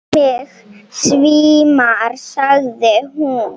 Mig svimar, sagði hún.